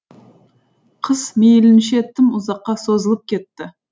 қыс мейлінше тым ұзаққа созылып кетті